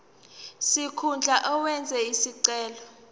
sikhundla owenze isicelo